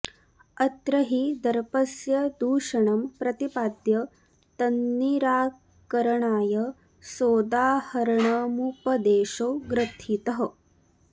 अत्र हि दर्पस्य दूषणं प्रतिपाद्य तन्निराकरणाय सोदाहरणमुपदेशो ग्रथितः